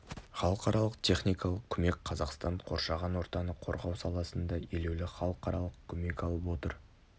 халықаралық техникалық көмек қазақстан қоршаған ортаны қорғау саласында елеулі халықаралық көмек алып отыр